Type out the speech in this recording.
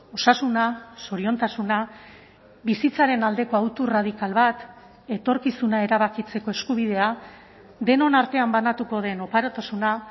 osasuna zoriontasuna bizitzaren aldeko autu radikal bat etorkizuna erabakitzeko eskubidea denon artean banatuko den oparotasuna